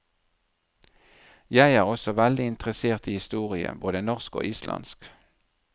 Jeg er også veldig interessert i historie, både norsk og islandsk.